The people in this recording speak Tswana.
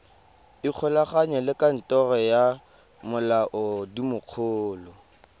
ikgolaganye le kantoro ya molaodimogolo